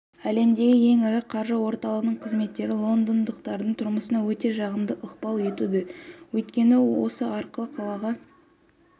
әлемдегі ең ірі қаржы орталығының қызметі лондондықтардың тұрмысына өте жағымды ықпал етуде өйткені осы арқылы қалаға